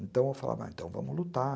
Então eu falava, então vamos lutar.